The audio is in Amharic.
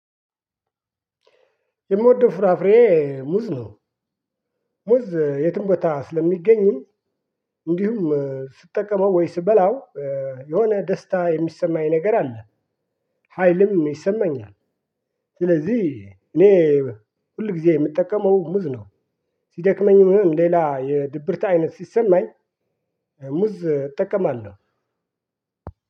የምወደው ፍራፍሬ ሙዝ ነው። ሙዝ የትም ቦታ ስለሚገኝም እንዲሁም ስጠቀመው ወይም ስበላው የሆነ ደስታ የሚሰማኝ ነገር አለ። ሀይልም ይሰማኛል። ስለዚህ እኔ ሁል ጊዜ የምጠቀመው ሙዝ ነው። ሲደክመኝ ምን ሌላ የድብርት አይነት ሲሰማኝ ሙዝ እጠቀማለሁ።